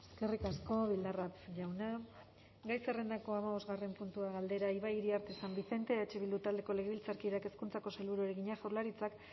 eskerrik asko bildarratz jauna gai zerrendako hamabosgarren puntua galdera ibai iriarte san vicente eh bildu taldeko legebiltzarkideak hezkuntzako sailburuari egina jaurlaritzak